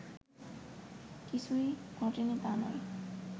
কিছূই ঘটেনি তা নয়